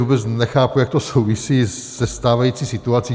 Vůbec nechápu, jak to souvisí se stávající situací.